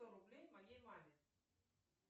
сто рублей моей маме